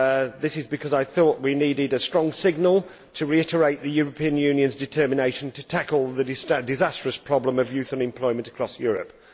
This is because I thought we needed a strong signal to reiterate the European Union's determination to tackle the disastrous problem of youth unemployment across Europe.